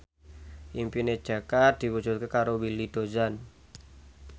impine Jaka diwujudke karo Willy Dozan